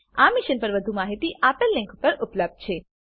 આ મિશન પર વધુ માહિતી નીચે દર્શાવેલ લીંક પર ઉપલબ્ધ છે